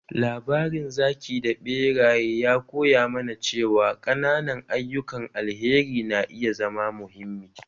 Labarin zaki da beraye ya koya mana cewa ƙananan ayyukan alheri na iya zama muhimmi.